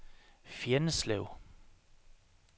Fjenneslev